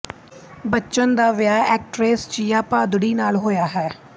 ਬੱਚਨ ਦਾ ਵਿਆਹ ਐਕਟਰੈਸ ਜਿਆ ਭਾਦੁੜੀ ਨਾਲ ਹੋਇਆ ਹੈ